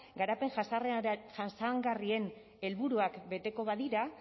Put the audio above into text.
garapen jasangarrien helburuak beteko badira